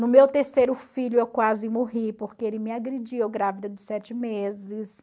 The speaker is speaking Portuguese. No meu terceiro filho, eu quase morri, porque ele me agrediu, eu grávida de sete meses.